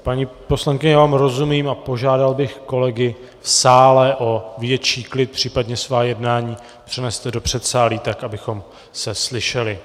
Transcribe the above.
Paní poslankyně, já vám rozumím a požádal bych kolegy v sále o větší klid, případně svá jednání přeneste do předsálí tak, abychom se slyšeli.